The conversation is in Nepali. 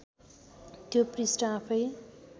त्यो पृष्ठ आफैँ